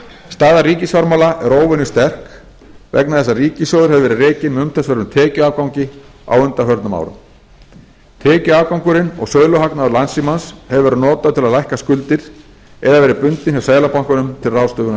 staða ríkisfjármála er óvenju sterk vegna þess að ríkissjóður hefur verið rekinn með umtalsverðum tekjuafgangi á undanförnum árum tekjuafgangurinn og söluhagnaður landssímans hefur verið notaður til að lækka skuldir eða verið bundinn hjá seðlabankanum til ráðstöfunar